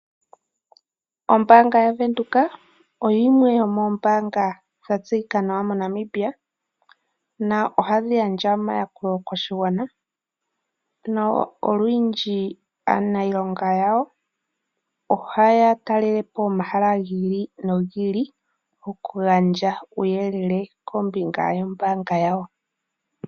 Ombaanga yaVenduka oyo yimwe yomoombanga dha tseyika nawa mo Namibia na ohadhi gandja omayakulo koshigwana na olwindji aaniilonga yawo oha ya talelepo omahala gi ili okugandja oku gandja uuyelele kombinga yombaanga yawo.